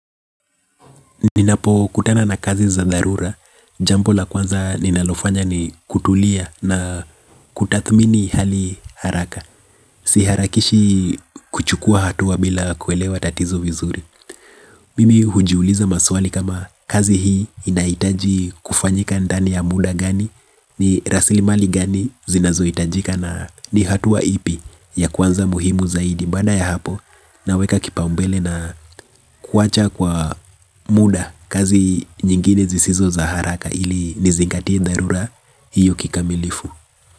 Ninapo kutana na kazi za dharura, jambo la kwanza ninalofanya ni kutulia na kutathmini hali haraka. Si harakishi kuchukua hatua bila kuelewa tatizo vizuri Mimi hujiuliza maswali kama kazi hii inahitaji kufanyika ndani ya muda gani, ni rasili mali gani zinazo hitajika na ni hatua ipi ya kwanza muhimu zaidi. Mbana ya hapo naweka kipaumbele na kuwacha kwa muda. Kazi nyingine zisizo za haraka ili nizingatie dharura hiyo kikamilifu.